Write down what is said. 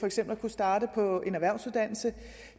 eksempel at kunne starte på en erhvervsuddannelse